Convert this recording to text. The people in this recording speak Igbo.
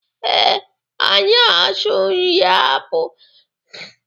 Ee, anyị asụ nri akpụ.